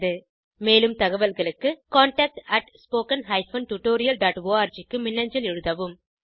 மேலும் தகவல்களுக்கு contactspoken tutorialorg க்கு மின்னஞ்சல் எழுதவும்